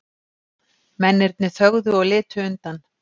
Mennirnir þögðu og litu undan.